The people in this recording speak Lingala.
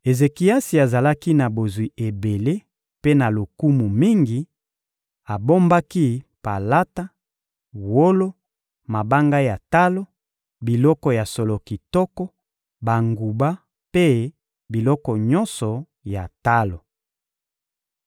Ezekiasi azalaki na bozwi ebele mpe na lokumu mingi, abombaki palata, wolo, mabanga ya talo, biloko ya solo kitoko, banguba mpe biloko nyonso ya talo.